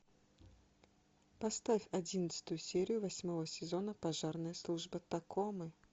поставь одиннадцатую серию восьмого сезона пожарная служба такомы